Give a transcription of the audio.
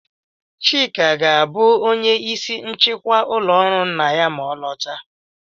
Chika ga-abụ onye ìsì nchịkwa ụlọ ọrụ nna ya ma ọ lọta.